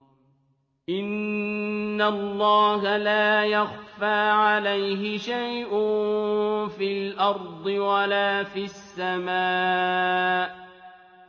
إِنَّ اللَّهَ لَا يَخْفَىٰ عَلَيْهِ شَيْءٌ فِي الْأَرْضِ وَلَا فِي السَّمَاءِ